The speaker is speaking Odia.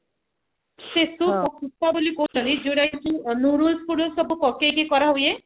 ସେ soup କୁ ସୁତ୍ତା ବୋଲି କହୁଛନ୍ତି ଯୋଉତ କି ଅମରୁଦରୁ ସବୁ ପକେଇ କି କରାହୁଏ